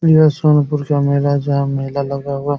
ये सोनपुर का मेला जहाँ मेला लगा हुआ।